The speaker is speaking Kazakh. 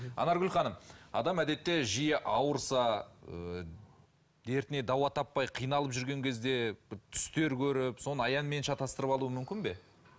анаргүл ханым адам әдетте жиі ауырса ы дертіне дауа таппай қиналып жүрген кезде түстер көріп соны аянмен шатастырып алуы мүмкін бе